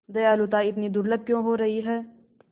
दयालुता इतनी दुर्लभ क्यों हो रही है